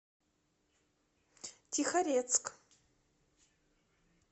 тихорецк